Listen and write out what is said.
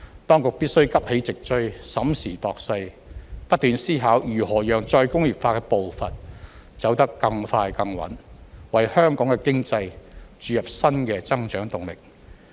當局必須急起直追，審時度勢，不斷思考如何讓再工業化的步伐走得更快更穩，為香港的經濟注入新的增長動力。